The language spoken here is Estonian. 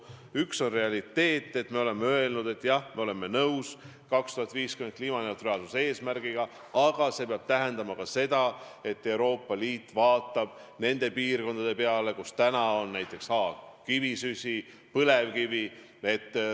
Üks on realiteet, et me oleme öelnud: jah, me oleme nõus 2050. aastaks saavutatava kliimaneutraalsuse eesmärgiga, aga see peab tähendama ka seda, et Euroopa Liit vaatab nende piirkondade peale, kus kasutatakse palju kivisütt või põlevkivi.